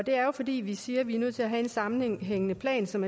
fordi vi siger at vi er nødt til at have en sammenhængende plan som